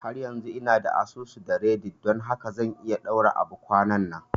Har yanzu ina da asusu da reddit don haka zan iya ɗaura abu kwananan